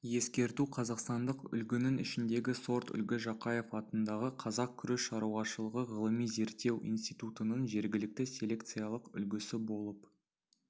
ескерту қазақстандық үлгінің ішіндегі сорт үлгі жақаев атындағы қазақ күріш шаруашылығы ғылыми-зерттеу институтының жергілікті селекциялық үлгісі болып